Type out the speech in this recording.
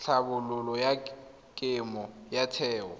tlhabololo ya kemo ya theo